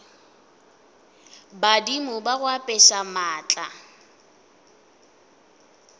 badimo ba go apeša maatla